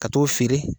Ka t'o feere